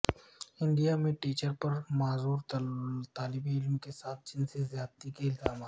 India میں teacher پر معذور طالب علموں کے ساتھ جنسی زیادتی کے الزامات